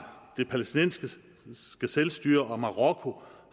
det palæstinensiske selvstyre og marokko